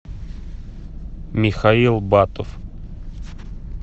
михаил батов